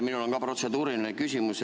Mul on ka protseduuriline küsimus.